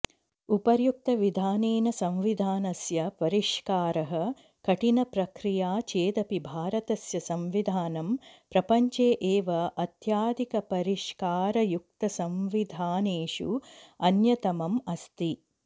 उपर्युक्तविधानेन संविधानस्य परिष्कारः कठिणप्रक्रिया चेदपि भारतस्य संविधानं प्रपञ्चे एव अत्यधिकपरिष्कारयुक्तसंविधानेषु अन्यतमम् अस्ति